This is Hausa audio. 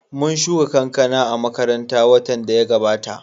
Mun shuka kankana a makaranta watan da ya gabata